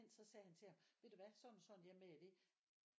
Så sagde han til ham ved du hvad sådan og sådan jeg er med i det